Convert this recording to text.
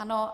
Ano.